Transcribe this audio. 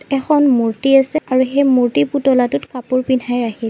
এখন মূৰ্ত্তি আছে সেই মূৰ্ত্তি পুতলাটোত কাপোৰ পিন্ধাই ৰাখিছে।